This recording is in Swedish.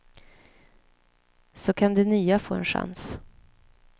Så kan det nya få en chans.